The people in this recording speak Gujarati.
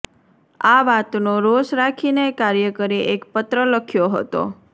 આ વાતનો રોષ રાખીને કાર્યકરે એક પત્ર લખ્યો હતો